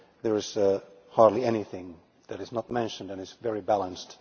There is hardly anything that is not mentioned, and it is very balanced.